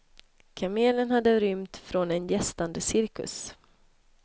Kamelen hade rymt från en gästande cirkus.